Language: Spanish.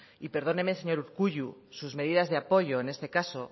y perdóneme señor urkullu sus medidas de apoyo en este caso